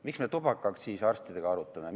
Miks me tubakaaktsiisi arstidega arutame?